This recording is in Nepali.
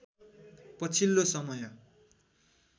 पछिल्लो समय